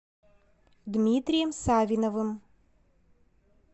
дмитрием савиновым